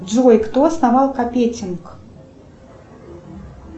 джой кто основал капетинг